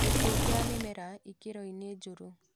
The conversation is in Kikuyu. Gĩkuo kĩa mĩmera ikĩro -inĩ njũru